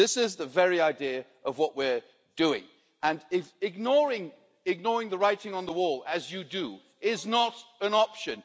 This is the very idea of what we're doing and ignoring the writing on the wall as you do is not an option.